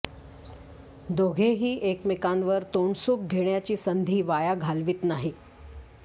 दोघेही एकमेकांवर तोंड सुख घेण्याची संधी वाया घालवित नाही